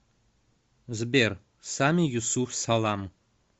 сбер сами юсуф салам